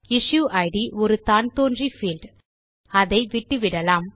issued ஒரு தான்தோன்றி field அதை விட்டுவிடலாம்